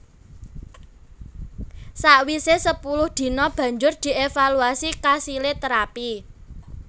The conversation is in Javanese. Sawise sepuluh dina banjur dievaluasi kasile terapi